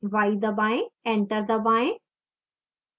enter दबाएं